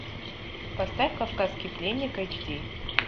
поставь кавказский пленник эйч ди